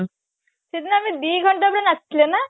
ସେଦିନ ବି ଦିଘଣ୍ଟା ବି ନାଚିଥିଲେ ନା